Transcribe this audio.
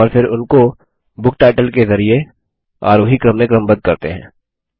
और फिर उनको बुक टाइटल के जरिये आरोही क्रम में क्रमबद्ध करते हैं